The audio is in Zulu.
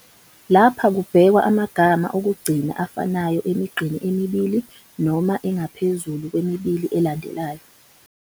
Lapha kubhekwa amagama okugcina afanayo emigqeni emibili noma engaphezulu kwemibili elandelanayo.